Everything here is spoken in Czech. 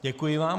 Děkuji vám.